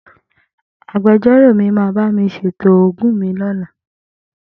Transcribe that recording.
Agbejọ́rò mi máa bá mi ṣètò ogún mi lọ́la.